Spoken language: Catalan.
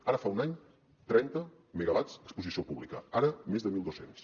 ara fa un any trenta megawatts a exposició pública ara més de mil dos cents